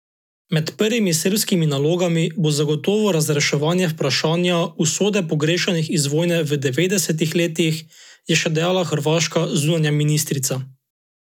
Med prvimi srbskimi nalogami bo zagotovo razreševanje vprašanja usode pogrešanih iz vojne v devetdesetih letih, je še dejala hrvaška zunanja ministrica.